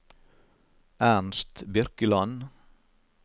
Ernst Birkeland